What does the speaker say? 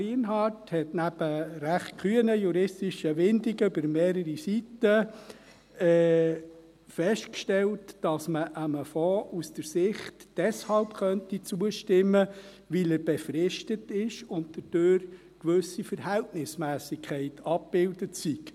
Lienhard stellte neben recht kühnen juristischen Windungen über mehrere Seiten fest, dass man einem Fonds deshalb aus der Sicht zustimmen könnte, dass er befristet ist und dadurch eine gewisse Verhältnismässigkeit abgebildet sei.